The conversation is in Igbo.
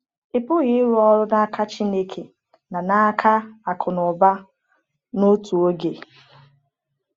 Ị pụghị ịrụ ọrụ n’aka Chineke na n’aka akụnụba n’otu oge.